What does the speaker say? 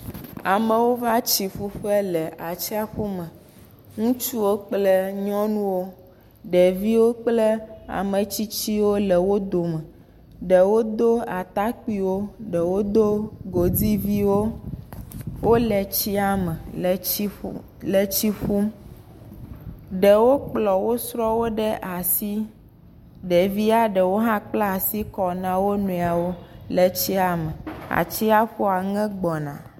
Amewo va tsi ƒu ƒe le atsiƒu me, ŋutsuwo kple nyɔnuwo, ɖeviwokple ametsitsiwo le wo dome, ɖewo do atakpuiwo ɖewo do godiviwo wole tsiame le tsi ƒum ɖewo kplɔ wosrɔ̃wo ɖe asi, ɖevi ɖewo hã kpla asi kɔ na wo nɔewo atsiaƒua ŋe gbɔna.